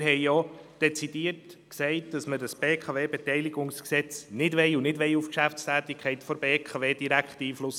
Wir haben auch dezidiert gesagt, dass wir das BKWG nicht wollen und auch keinen direkten Einfluss auf die Geschäftstätigkeit der BKW nehmen wollen.